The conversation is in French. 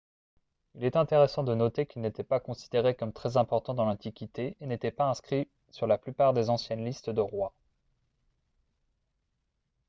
il est intéressant de noter qu'il n'était pas considéré comme très important dans l'antiquité et n'était pas inscrit sur la plupart des anciennes listes de rois